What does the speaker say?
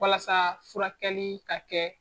Walasa furakɛli ka kɛ